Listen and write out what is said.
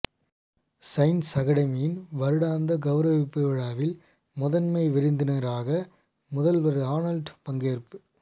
science அக்கடமியின் வருடாந்த கௌரவிப்பு விழாவில் முதன்மை விருந்தினராக முதல்வர் ஆனல்ட் பங்கேற்பு